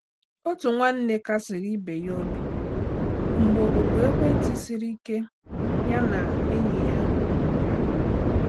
Otu nwanne kasiri ibe ya obi mgbe oku ekwentị siri ike ya na enyi ya nwere.